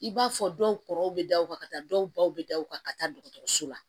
I b'a fɔ dɔw kɔrɔ bɛ da o kan ka taa dɔw baw bɛ da u ka ka taa dɔgɔtɔrɔso la